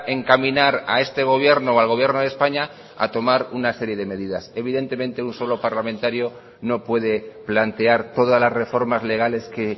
encaminar a este gobierno o al gobierno de españa a tomar una serie de medidas evidentemente un solo parlamentario no puede plantear todas las reformas legales que